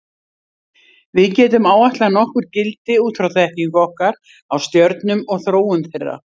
Við getum áætlað nokkur gildi út frá þekkingu okkar á stjörnum og þróun þeirra.